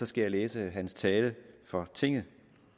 skal jeg læse hans tale for tinget